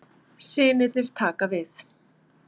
Synirnir taka við